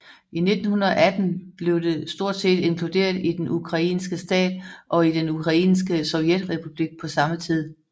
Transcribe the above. I 1918 blev det stort set inkluderet i den ukrainske stat og i den ukrainske sovjetrepublik på samme tid